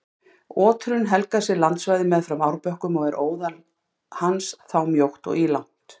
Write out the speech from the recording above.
Oturinn helgar sér landsvæði meðfram árbökkum og er óðal hans þá mjótt og ílangt.